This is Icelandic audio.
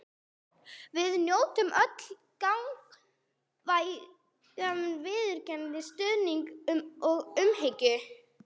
Við njótum öll gagnkvæmrar virðingar, stuðnings og umhyggju.